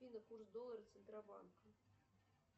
афина курс доллара центробанка